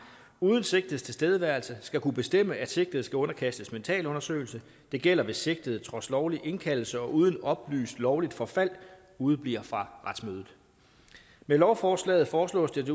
uden sigtedes tilstedeværelse skal kunne bestemme at sigtede skal underkastes mentalundersøgelse det gælder hvis sigtede trods lovlig indkaldelse og uden oplyst lovligt forfald udebliver fra retsmødet med lovforslaget foreslås det